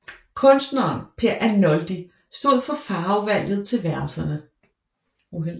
Kunstneren Per Arnoldi stod for farvevalget til værelserne